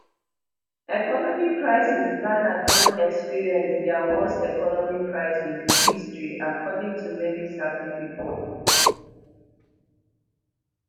economic crisisghana don experience dia worst economic crisis in history according to many sabi pipo